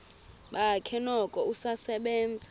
bakhe noko usasebenza